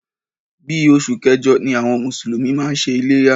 Bí oṣù kẹjọ ni àwọn mùsùlùmí máa ń ṣe iléyá.